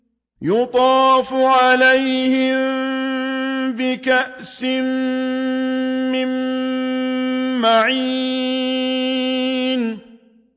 يُطَافُ عَلَيْهِم بِكَأْسٍ مِّن مَّعِينٍ